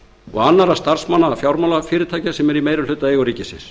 og annarra starfsmanna fjármálafyrirtækja sem eru í meirihlutaeigu ríkisins